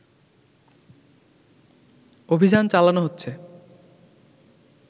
অভিযান চালানো হচ্ছে